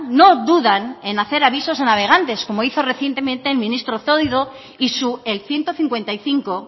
no dudan en hacer avisos a navegantes como hizo recientemente el ministro zoido y su el ciento cincuenta y cinco